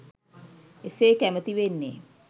එසේ කැමැතිවෙන්නේ.